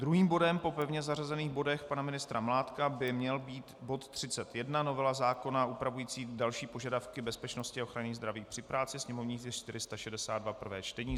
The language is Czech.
Druhým bodem po pevně zařazených bodech pana ministra Mládka by měl být bod 31, novela zákona upravující další požadavky bezpečnosti a ochrany zdraví při práci, sněmovní tisk 462, prvé čtení.